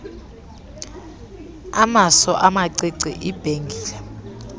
amaso amacici ibhengile